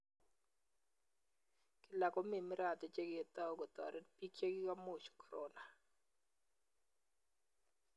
Kila komi miradi che ketao kotarit biik chekigomuuch korona